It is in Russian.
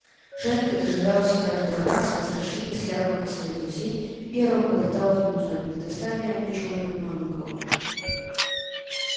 женька дожидался каждый раз возвращения с ярмарки своих друзей и первым подлетал к ним узнать не достали ли они чего-нибудь новенького